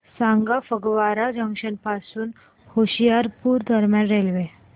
सांगा फगवारा जंक्शन पासून होशियारपुर दरम्यान रेल्वे